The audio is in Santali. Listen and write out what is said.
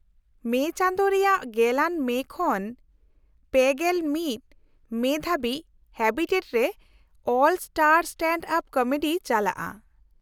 -ᱢᱮ ᱪᱟᱸᱫᱳ ᱨᱮᱭᱟᱜ ᱑᱐ ᱟᱱ ᱢᱮ ᱠᱷᱚᱱ ᱓᱑ ᱟᱱ ᱢᱮ ᱫᱷᱟᱹᱵᱤᱡ ᱦᱮᱵᱤᱴᱮᱴ ᱨᱮ 'ᱚᱞ ᱥᱴᱟᱨ ᱥᱴᱮᱱᱰᱼᱟᱯ ᱠᱚᱢᱮᱰᱤ' ᱪᱟᱞᱟᱜᱼᱟ ᱾